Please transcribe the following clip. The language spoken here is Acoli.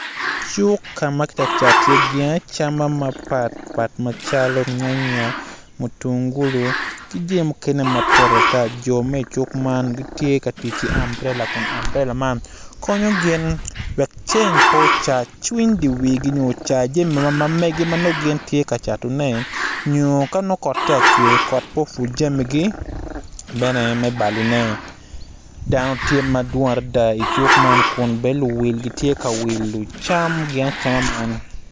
Cuk ka ma kitye ka cato iye jami mapatpat calo nyanya mutungulu ki jami mukene mapol ata jo ma i cuk man gitye ka tic ki ambrela konyo gin wek ceng pe ocargi cwiny diwigi wek ceng pe owangi nyo kanongo kot tye ka cwer wek kot pe opwodgi ki bene me balone.